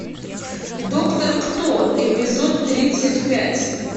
доктор кто эпизод тридцать пять